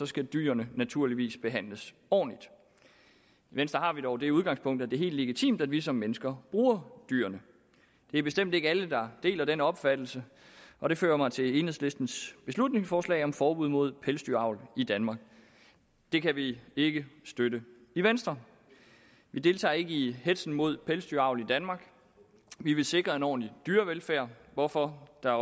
skal dyrene naturligvis behandles ordentligt i venstre har vi dog det udgangspunkt at det er helt legitimt at vi som mennesker bruger dyrene det er bestemt ikke alle der deler den opfattelse og det fører mig til enhedslistens beslutningsforslag om forbud mod pelsdyravl i danmark det kan vi ikke støtte i venstre vi deltager ikke i hetzen mod pelsdyravl i danmark vi vil sikre en ordentlig dyrevelfærd hvorfor der